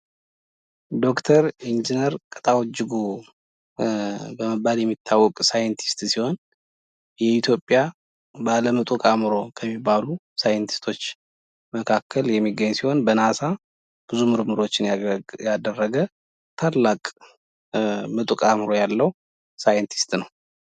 ዶክተር ኢንጂነር ቅጣው እጅጉ በመባል የሚታወቅ ሳይንቲስት ሲሆን የኢትዮጵያ ባለ ምጡቅ አእምሮ ከሚባሉ ሳይንቲስቶች መካከል የሚገኝ ሲሆን በናሳ ብዙ ምርምሮችን ያደረገ ታላቅ ምጡቅ አእምሮ ያለው ሳይንቲስት ነው ።